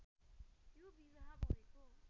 यो विवाह भएको